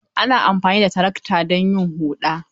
Ana amfani da tarakta don yin huɗa.